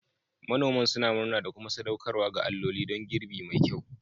Manoman suna murna da kuma sadaukarwa ga alloli don girbi mai kyau.